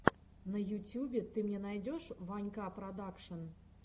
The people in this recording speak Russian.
на ютюбе ты мне найдешь ванька продакшн